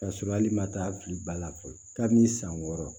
K'a sɔrɔ ali ma taa a fili ba la fɔlɔ ka n'i san wɔɔrɔ